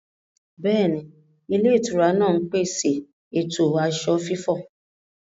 Bẹ́ẹ̀ni, ilé-ìtura náà ń pèsè ètò aṣọ fífọ̀.